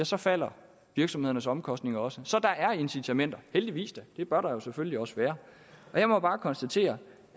så falder virksomhedernes omkostninger også så der er incitamenter heldigvis da det bør der jo selvfølgelig også være jeg må bare konstatere